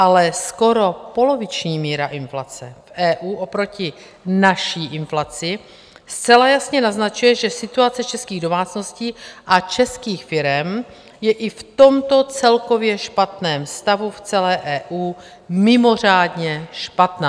Ale skoro poloviční míra inflace v EU oproti naší inflaci zcela jasně naznačuje, že situace českých domácností a českých firem je i v tomto celkově špatném stavu v celé EU mimořádně špatná.